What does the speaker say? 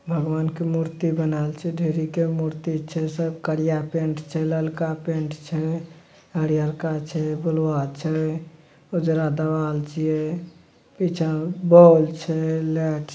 भगवान के मूर्ति बनेल छै ढेरीके मूर्ति छै सब करीया पेंट छै ललका पेंट छै हरियरका छै ब्लूआ छै उजरा देबाल छीए पिछे बौल छै लाइट --